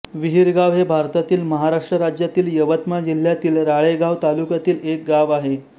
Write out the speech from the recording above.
विहिरगाव हे भारतातील महाराष्ट्र राज्यातील यवतमाळ जिल्ह्यातील राळेगांव तालुक्यातील एक गाव आहे